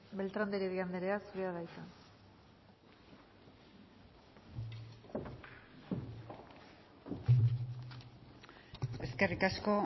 beltrán de heredia anderea zurea da hitza eskerrik asko